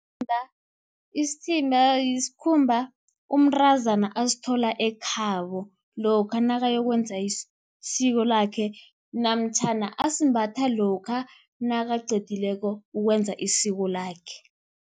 Isithimba yisikhumba, umntazana asithola ekhabo lokha nakayokwenza isiko lakhe, namtjhana asimbatha lokha nakaqedileko ukwenza isiko lakhe.